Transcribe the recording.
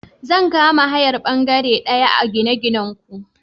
Zan kama hayar bangare daya a gine-ginanku.